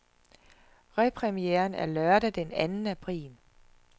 Repremieren er lørdag den anden april.